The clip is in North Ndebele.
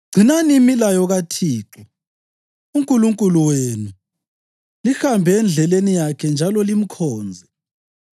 Gcinani imilayo kaThixo uNkulunkulu wenu lihambe endleleni yakhe njalo limkhonze.